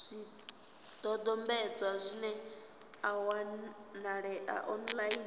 zwidodombedzwa zwi a wanalea online